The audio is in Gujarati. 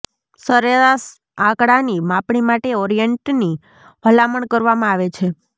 સરેરાશ આંકડાની માપણી માટે ઓરિએન્ટની ભલામણ કરવામાં આવે છે